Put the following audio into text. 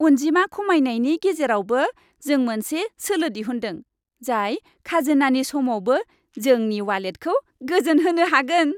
अनजिमा खमायनायनि गेजेरावबो, जों मोनसे सोलो दिहुन्दों, जाय खाजोनानि समावबो जोंनि वालेटखौ गोजोनहोनो हागोन।